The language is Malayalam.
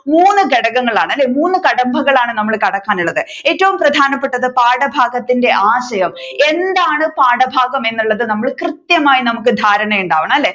മൂന്ന് ഘടകങ്ങളാണ് അല്ലെ മൂന്ന് കടമ്പകളാണ് നമ്മൾ കടക്കാനുള്ളത് ഏറ്റവും പ്രധാനപ്പെട്ടത് പാഠഭാഗത്തിന്റെ ആശയം എന്താണ് പാഠഭാഗം എന്നുള്ളത് നമ്മള് കൃത്യമായി നമ്മുക്ക് ധാരണയുണ്ടാവണം അല്ലെ